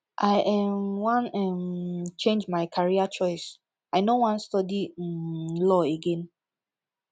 i um wan um change my career choice i no wan study um law again